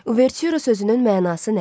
Uvertüra sözünün mənası nədir?